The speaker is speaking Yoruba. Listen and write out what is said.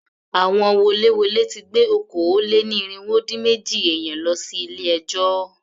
Àwọn woléwolé ti gbé okòó-lé-ní-irínwó-dín-méjì èèyàn lọ sí ilé ẹjọ́.